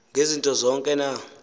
ngezinto zonke na